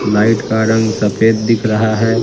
Light का रंग सफेद दिख रहा है।